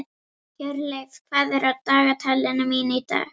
Hjörleif, hvað er á dagatalinu mínu í dag?